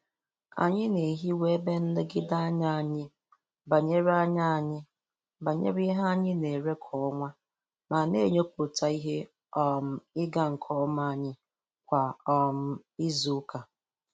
Anyi na-ehiwa ebe nlegide anya anyị banyere anya anyị banyere ihe anyị na-ere kwa ọnwa ma na-enyopụta ihe um ịga nke ọma anyị kwa um izu ụka.